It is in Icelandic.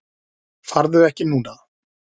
Farðu ekki núna!